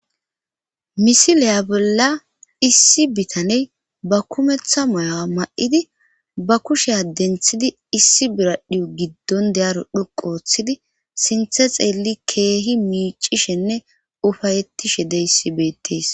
misileya bolla issi bitaney ba kumeththa mayawa ma7idi ba kushea denthidi issi biradhio giddon deyaro dhoqu ooththidi sinthe xeelli keehi miicishenne ufayettishe deysi beettees